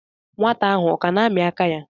Nwata ahụ ọ ka na-amị aka ya?